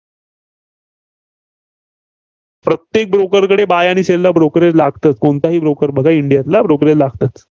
प्रत्येक broker कडे buy आणि sell ला brokerage लागतं. कोणताही broker बघा इंडियातला brokerage लागतं.